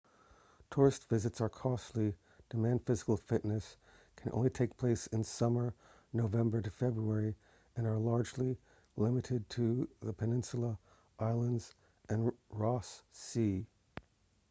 tourist visits are costly demand physical fitness can only take place in summer nov-feb and are largely limited to the peninsula islands and ross sea